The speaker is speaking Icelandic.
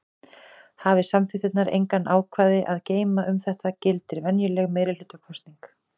Hafi samþykktirnar engin ákvæði að geyma um þetta gildir venjuleg meirihlutakosning.